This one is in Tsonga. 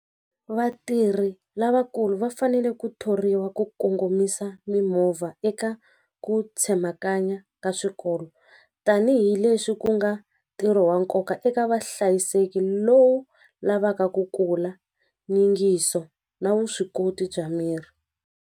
Vatirhi lavakulu va fanele ku thoriwa ku kongomisa mimovha eka ku tsemakanya ka swikolo tanihileswi ku nga ntirho wa nkoka eka vahlayiseki lowu lavaka ku kula nyingiso na vuswikoti bya miri.